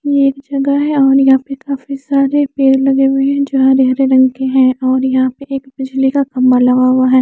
ये एक जगह हैं और यहां पे काफी सारे पेड़ लगे हुए हैं जो हरे हरे रंग के हैं और यहां पे एक बिजली का खंभा लगा हुआ हैं।